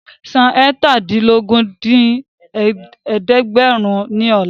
San eétàdínlógún dín ní ẹ̀ẹ́dẹ́gbẹ́rún ní ọ̀la